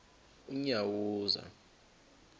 unyawuza